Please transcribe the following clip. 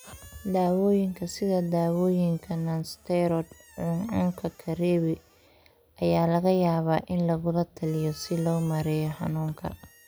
Daawooyinka sida daawooyinka nonsteroid cuncunka karebi (NSAIDs) ayaa laga yaabaa in lagula taliyo si loo maareeyo xanuunka.